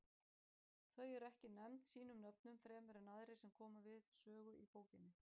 Þau eru ekki nefnd sínum nöfnum fremur en aðrir sem koma við sögu í bókinni.